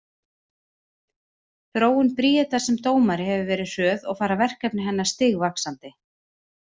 Þróun Bríetar sem dómari hefur verið hröð og fara verkefni hennar stigvaxandi.